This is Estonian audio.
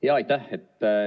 Jaa, aitäh!